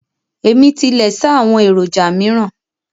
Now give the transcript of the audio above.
Ẹ̀mí tilẹ̀ ṣáá àwọn èròjà míràn